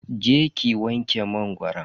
Je ki ki wanke mangoron.